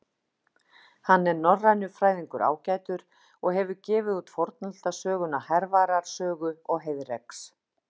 Hann er norrænufræðingur ágætur og hefur gefið út fornaldarsöguna Hervarar sögu og Heiðreks.